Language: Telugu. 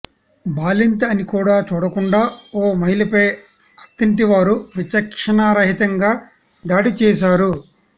బాలింత అని కూడా చూడకుండా ఓ మహిళపై అత్తింటివారు విచక్షణారహితంగా దాడి చేశారు